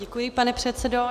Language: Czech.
Děkuji, pane předsedo.